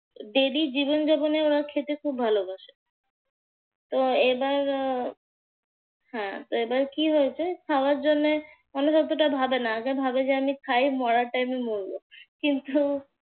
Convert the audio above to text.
daily জীবনযাপনে ওরা খেতে খুব ভালোবাসে। তো এবার হ্যাঁ তো এবার কি হয়েছে খাওয়ার জন্যে মানুষ অতটা ভাবে না আগে ভাবে যে আগে খাই, মরার time এ মরবো।